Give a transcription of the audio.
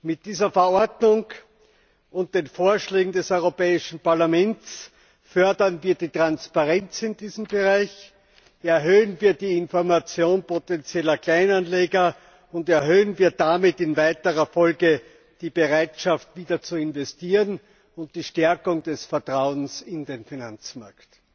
Mit dieser Verordnung und den Vorschlägen des Europäischen Parlaments fördern wir die Transparenz in diesem Bereich, erhöhen wir die Information potenzieller Kleinanleger und damit in weiterer Folge die Bereitschaft, wieder zu investieren, und stärken das Vertrauen in den Finanzmarkt.